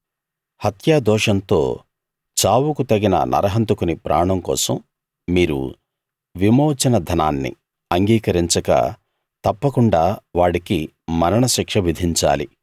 హత్యా దోషంతో చావుకు తగిన నరహంతకుని ప్రాణం కోసం మీరు విమోచన ధనాన్ని అంగీకరించక తప్పకుండా వాడికి మరణశిక్ష విధించాలి